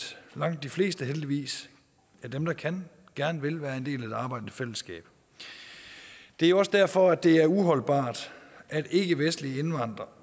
langt de fleste af dem der kan gerne vil være en del af det arbejdende fællesskab det er også derfor det er uholdbart at ikkevestlige indvandrere